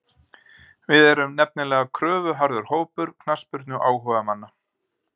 Við erum nefnilega kröfuharður hópur, knattspyrnuáhugamenn.